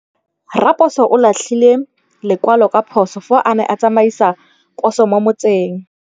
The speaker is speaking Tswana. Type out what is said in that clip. Raposo o latlhie lekwalô ka phosô fa a ne a tsamaisa poso mo motseng.